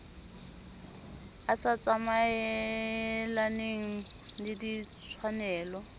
e sa tsamaelaneng le ditshwanelo